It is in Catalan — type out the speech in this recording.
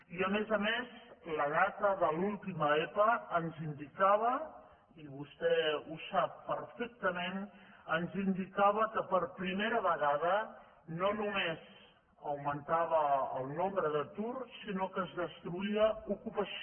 i a més a més la dada de l’última epa ens indicava i vostè ho sap per·fectament que per primera vegada no només augmen·tava el nombre d’atur sinó que es destruïa ocupació